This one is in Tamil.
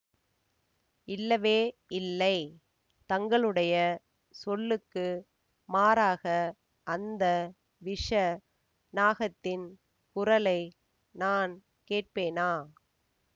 இல்லவே இல்லை தங்களுடைய சொல்லுக்கு மாறாக அந்த விஷ நாகத்தின் குரலை நான் கேட்பேனா